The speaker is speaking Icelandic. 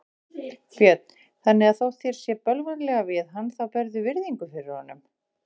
Björn: Þannig að þótt þér sé bölvanlega við hann þá berðu virðingu fyrir honum?